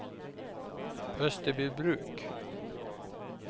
Österbybruk